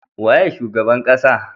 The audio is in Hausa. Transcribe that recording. Waye shugaban ƙasa?